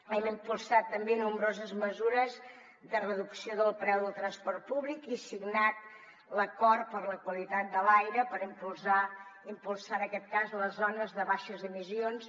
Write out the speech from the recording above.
hem impulsat també nombroses mesures de reducció del preu del transport públic i signat l’acord per la qualitat de l’aire per impulsar en aquest cas les zones de baixes emissions